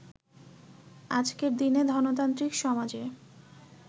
আজকের দিনে ধনতান্ত্রিক সমাজে